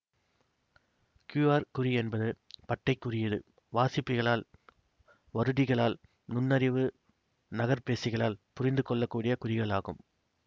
QR குறி என்பது பட்டைக் குறியீடு வாசிப்பிகளால் வருடிகளால் நுண்ணறிவு நகர்பேசிகளால் புரிந்து கொள்ள கூடிய குறிகள் ஆகும்